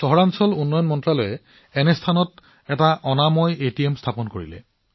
নগৰ পৰিক্ৰমা মন্ত্ৰালয়ে এটা পৰিষ্কাৰ এটিএমো স্থাপন কৰিছে